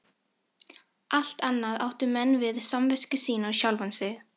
Allt annað áttu menn við samvisku sína og sjálfan sig.